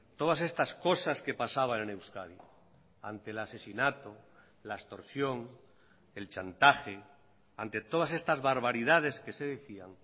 todas estas cosas que pasaban en euskadi ante el asesinato la extorsión el chantaje ante todas estas barbaridades que se decían